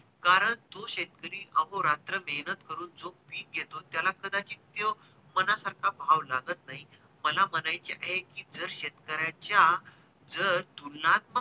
कारण तो शेतकरी अहोरात्र मेहेनत करून जो पीक घेतो त्याला कदाचित तो मनासारखा भाव लागत नाही मला म्हणायचे आहे कि जर शेतकऱ्याच्या जर तुलना